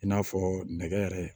I n'a fɔ nɛgɛ yɛrɛ